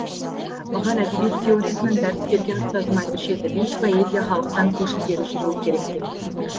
маған әдебиет теориясынан дәріс берген ұстазым айтушы еді биік поэзия халықтан көш ілгері жүруі керек деп